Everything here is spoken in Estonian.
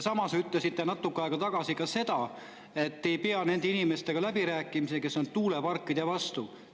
Samas ütlesite natuke aega tagasi seda, et te ei pea läbirääkimisi inimestega, kes on tuuleparkide vastu.